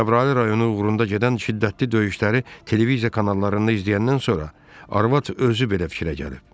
Cəbrayıl rayonu uğrunda gedən şiddətli döyüşləri televiziya kanallarında izləyəndən sonra arvad özü belə fikrə gəlib.